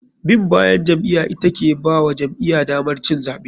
Bin bayan jam'iya ita ke bawa jam'iya damar cin zaɓe.